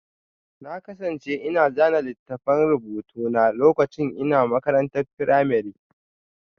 Na kasance ina zana littafan rubutu na lokacin ina makarantar firamare